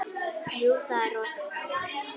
Jú, það er rosa gaman.